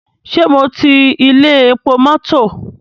Ṣé mo ti ilé epo mọ́tọ̀?